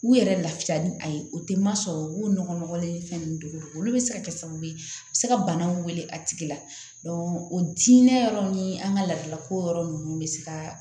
U yɛrɛ lafiya ni a ye o tɛ ma sɔrɔ u b'o nɔgɔlen ni fɛn ninnu dogo olu bɛ se ka kɛ sababu ye a bɛ se ka banaw wele a tigi la o diinɛ yɔrɔ ni an ka laadalako yɔrɔ ninnu bɛ se ka